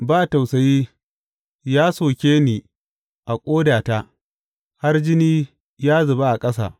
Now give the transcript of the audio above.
Ba tausayi, ya soke ni a ƙodata har jini ya zuba a ƙasa.